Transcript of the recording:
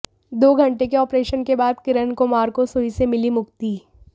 दो घंटे के ऑपरेशन के बाद किरण कुमार को सुई से मिली मुक्ति